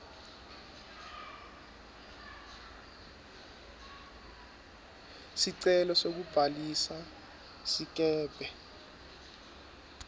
sicelo sekubhalisa sikebhe